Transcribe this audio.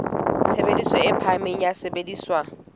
tshebediso e phahameng ya sesebediswa